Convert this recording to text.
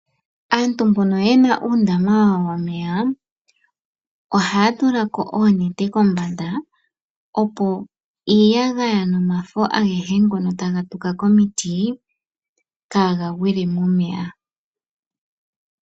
Aantu mbono ye na uundama wawo womeya, oha ya tulako oonete kombanda opo iiyagaya nomafo agehe ngono taga tuka komiti kaagagwile momeya.